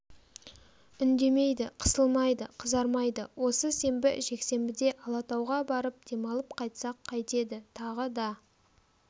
үндемейді қысылмайды қызармайды осы сенбі жексенбіде алатауға барып демалып қайтсақ қайтеді тағы да